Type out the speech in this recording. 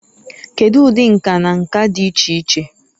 Kedu ụdị nka na nka dị iche iche?